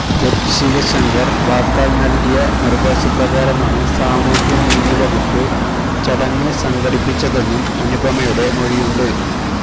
ശിവശങ്കര് വാക്കാല് നല്കിയ നിര്ദേശപ്രകാരമാണ് സാമൂഹ്യനീതി വകുപ്പ് ചടങ്ങ് സംഘടിപ്പിച്ചതെന്നും അനുപമയുടെ മൊഴിയുണ്ട്